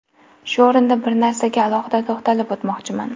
Shu o‘rinda bir narsaga alohida to‘xtatilib o‘tmoqchiman.